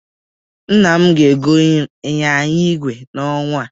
Nna m ga-egonye m ịnyịnya ìgwè n'ọnwa a.